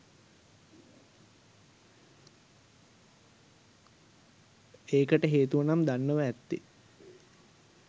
ඒකට හේතුව නම් දන්නව ඇත්තෙ